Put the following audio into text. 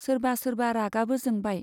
सोरबा सोरबा रागाबो जोंबाय।